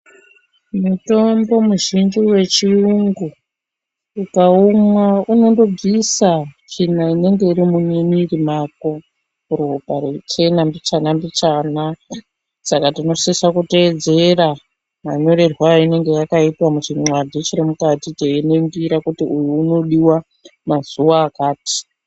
Mutombo muzhinji vechiyungu ukaumwa unondobvisa tsvina inenge iri mumwiri mako ropa reichena mbichana-mbichana. Saka tinosisa kutedzera manyorerwe yainenge yakaita muchinxadhi chiri mukati teiningira kuti uyu unodiva mazuva akati.